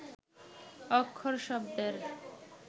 অক্ষর শব্দের